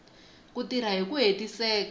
ku tirha hi ku hetiseka